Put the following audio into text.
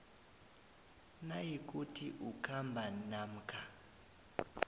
nayikuthi ukhamba namkha